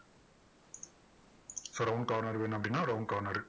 so round corner வேணும் அப்படின்னா round corner உ.